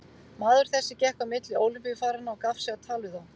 Maður þessi gekk á milli Ólympíufaranna og gaf sig á tal við þá.